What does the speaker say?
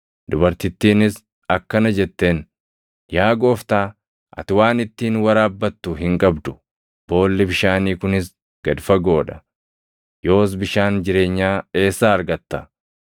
Dubartittiinis akkana jetteen; “Yaa gooftaa, ati waan ittiin waraabbattu hin qabdu; boolli bishaanii kunis gad fagoo dha. Yoos bishaan jireenyaa eessaa argatta?